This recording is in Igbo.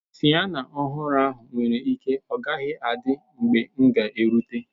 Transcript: Siyana ọhụrụ ahụ nwere ike ọ gaghị adị mgbe m ga erute.